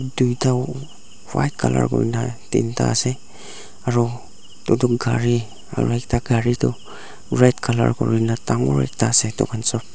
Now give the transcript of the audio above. tuida white colour kuri kena tinda ase aro nutun gari aro ekta gari toh red colour kuri kena dangor ekta ase etu khan sob.